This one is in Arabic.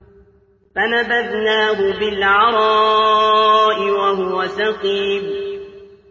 ۞ فَنَبَذْنَاهُ بِالْعَرَاءِ وَهُوَ سَقِيمٌ